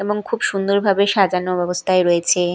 এবং খুব সুন্দরভাবে সাজানো অবস্থায় রয়েছে।